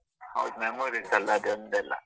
ಹೌದು memories ಅಲ ಅದೋಂದೆಲ್ಲ?